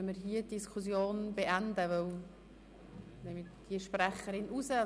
Daher würden wir die Diskussion hier beenden, und ich nehme diese Sprecherin von der Liste.